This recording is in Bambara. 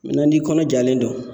n'i kɔnɔ jalen don.